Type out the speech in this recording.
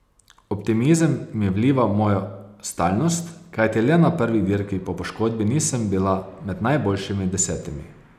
Optimizem mi vliva moja stalnost, kajti le na prvi dirki po poškodbi nisem bila med najboljšimi desetimi.